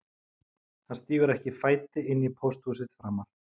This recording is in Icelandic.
Hann stígur ekki fæti inn á pósthúsið framar